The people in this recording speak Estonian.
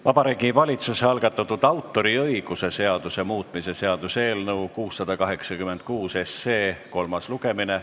Vabariigi Valitsuse algatatud autoriõiguse seaduse muutmise seaduse eelnõu 686 kolmas lugemine.